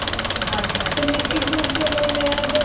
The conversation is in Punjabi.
ਹਾਂਜੀ ਹਾਂਜੀ ਤੇ ਨਿਸ਼ਚਿਤ ਰੂਪ ਵਿਚ ਓਹਨਾ ਨੇ ਆ ਜਿਹੜਾ